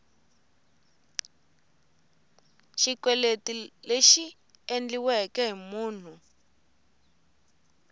xikweleti lexi endliweke hi munhu